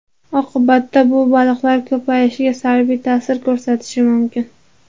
Oqibatda bu baliqlar ko‘payishiga salbiy ta’sir ko‘rsatishi mumkin.